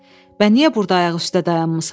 Bə niyə burda ayaq üstə dayanmısan?